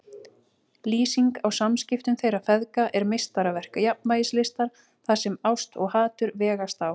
Lýsingin á samskiptum þeirra feðga er meistaraverk jafnvægislistar þar sem ást og hatur vegast á.